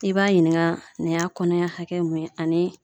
I b'a ɲininka nin y'a kɔnɔ ɲɛ hakɛ mun ye ani